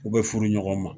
U bɛ furu ɲɔgɔn ma